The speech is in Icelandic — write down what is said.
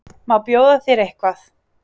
Má bjóða þér eitthvað?